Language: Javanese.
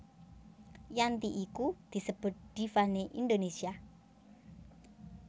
Yanti iku disebut diva né Indonesia